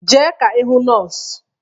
Jee ka ị hụ nọọsụ!